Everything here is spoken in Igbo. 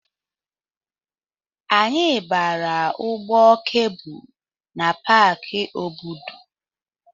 Anyị gbara ụgbọ kebụlụ na Paki Obudu.